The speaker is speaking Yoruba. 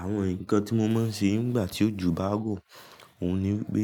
Àwọn nǹkan tí mo máa ń ṣe nígbà tí ojo bá ń rọ, òun ni pé